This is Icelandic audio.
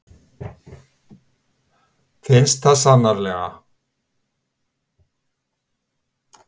Finnst það sannarlega.